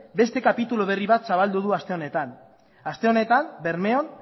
beste kapitulu berri bat zabaldu du aste honetan aste honetan bermeon